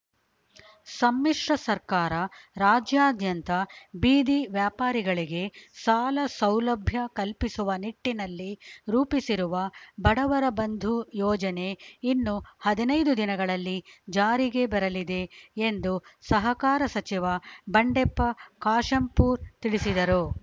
ಸಮ್ಮಿಶ್ರ ಸರ್ಕಾರ ರಾಜ್ಯಾದ್ಯಂತ ಬೀದಿ ವ್ಯಾಪಾರಿಗಳಿಗೆ ಸಾಲ ಸೌಲಭ್ಯ ಕಲ್ಪಿಸುವ ನಿಟ್ಟಿನಲ್ಲಿ ರೂಪಿಸಿರುವ ಬಡವರ ಬಂಧು ಯೋಜನೆ ಇನ್ನು ಹದಿನೈದು ದಿನಗಳಲ್ಲಿ ಜಾರಿಗೆ ಬರಲಿದೆ ಎಂದು ಸಹಕಾರ ಸಚಿವ ಬಂಡೆಪ್ಪ ಖಾಶೆಂಪೂರ್‌ ತಿಳಿಸಿದರು